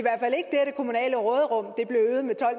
kommunale råderum